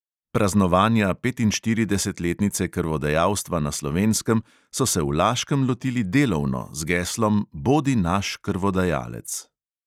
Praznovanja petinštiridesetletnice krvodajalstva na slovenskem so se v laškem lotili delovno z geslom bodi naš krvodajalec.